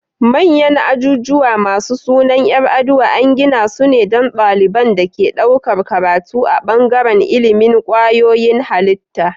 Manyan ajujuwa masu sunan yar aduwa an gidasu ne don daliban da ke ɗaukar karatu a bangaran ilimin kwayoyin halitta